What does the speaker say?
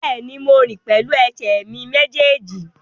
Bẹ́ẹ̀ni, mo rìn pẹ̀lú ẹsẹ̀ mi méjèèjì